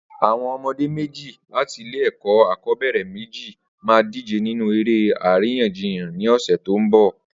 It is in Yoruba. Awọn ọmọdé méji làtí ilé ẹkọ akọbẹrẹ méji mà dijé ninú éré àrínyànjíyàn ni ọsẹ tó n bọ